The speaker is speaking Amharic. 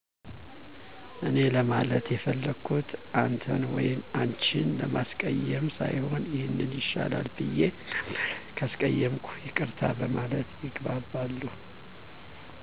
እኔ ለማለት የፈለኩት አንተን ወይም አንችን ለማስቀየም ሳይሆን ይህ ይሻላል ብየ ነበር። ካስቀየምኩ ይቅርታ በማለት ይግባባሉ።